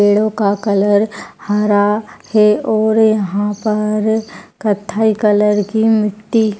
पेड़ों का कलर हरा है और यहाँ पर कत्थई कलर की मिट्टी --